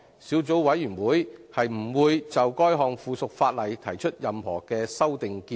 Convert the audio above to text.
小組委員會不會就該項附屬法例提出任何修訂建議。